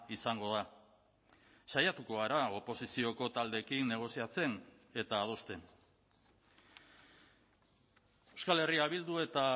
izango da saiatuko gara oposizioko taldeekin negoziatzen eta adosten euskal herria bildu eta